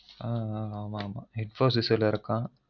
உம் உம் infosis ல இருக்கான்